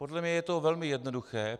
Podle mě je to velmi jednoduché.